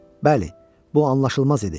Bəli, bu anlaşılmaz idi.